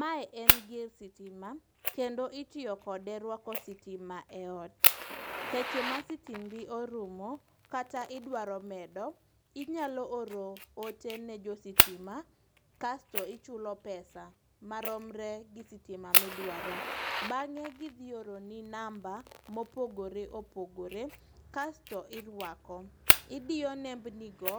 Mae en gir sitima kendo itiyo kode rwako sitima e ot. Seche ma sitimbi orumo kata idwaro medo, inyalo oro ote ne jositima kasto ichulo pesa maromre gi sitima midwaro .Bang'e gidhi oro ni mamba mopogore opogore kasto irwako. Idiyo nembnigo